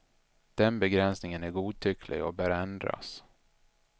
Den begränsningen är godtycklig och bör ändras.